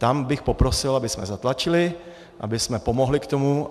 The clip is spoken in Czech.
Tam bych poprosil, abychom zatlačili, abychom pomohli k tomu.